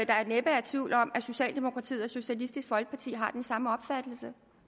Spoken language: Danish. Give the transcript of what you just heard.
er næppe tvivl om at socialdemokratiet og socialistisk folkeparti har den samme opfattelse